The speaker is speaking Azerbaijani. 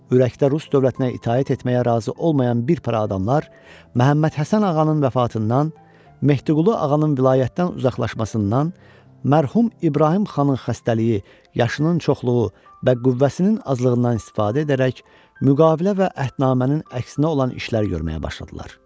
Ürəkdə rus dövlətinə itaət etməyə razı olmayan bir para adamlar Məhəmməd Həsən ağanın vəfatından, Mehdiqulu ağanın vilayətdən uzaqlaşmasından, mərhum İbrahim xanın xəstəliyi, yaşının çoxluğu və qüvvəsinin azlığından istifadə edərək müqavilə və əhətnamənin əksinə olan işlər görməyə başladılar.